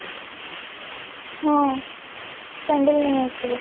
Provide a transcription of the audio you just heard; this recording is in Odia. ହଁ sandal ନେଇ ଆସିବୁ